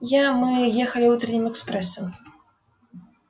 я мы ехали утренним экспрессом